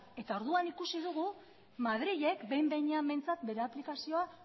eta orduan ikusi dugu madrilek behin behinean behintzat bere aplikazioa